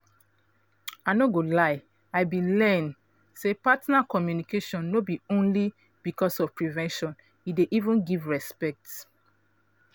i no go lie i been learn say partner communication no be only because of prevention e dey even give respect